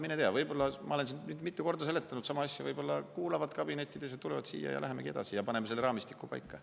Mine tea, ma olen siin mitu korda seletanud sama asja, võib-olla nad kuulavad kabinettides, tulevad siia, me läheme edasi ja panemegi selle raamistiku paika.